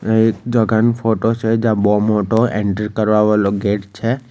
આ એક જગાન ફોટો છે જ્યાં બોવ મોટો એન્ટ્રી કરવા વાલો ગેટ છે.